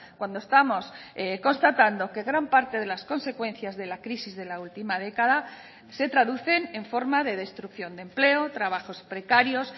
cuando estamos constatando que gran parte de las consecuencias de la crisis de la última década se traducen en forma de destrucción de empleo trabajos precarios